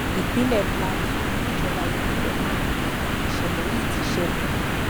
ìpínlẹ plateau níjọba ìbílẹ mangu ni ìṣẹlẹ yìí ti ṣẹlẹ